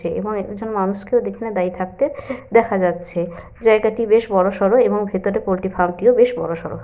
এবং একজন মানুষ কেও এখানে দাঁড়িয়ে থাকতে দেখা যাচ্ছে। জায়গাটি বেশ বড়সড় এবং ভিতরে পোল্ট্রি ফার্ম -টিও বেশ বড়সড়।